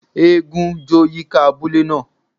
Égún jó yika abule naa.